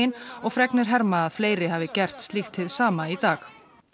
og fregnir herma að fleiri hafi gert slíkt hið sama í dag